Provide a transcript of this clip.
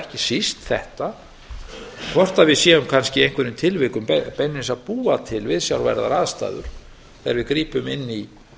ekki síst þetta hvort við séum kannski í einhverjum tilvikum beinlínis að búa til viðsjárverðar aðstæður þegar við grípum inn í